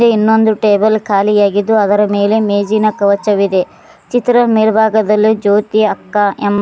ಇನ್ನೊಂದು ಟೇಬಲ್ ಖಾಲಿಯಾಗಿದ್ದು ಅದರ ಮೇಲೆ ಮೇಜಿನ ಕವಚವಿದೆ ಚಿತ್ರದ ಮೇಲ್ಭಾಗದಲ್ಲಿ ಜ್ಯೋತಿ ಅಕ್ಕ ಎಂಬ.